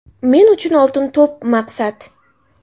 Men uchun ‘Oltin to‘p’ maqsad.